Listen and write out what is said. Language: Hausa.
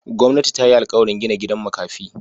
Gwamnati ta yi alkawarin gina gidan makafi.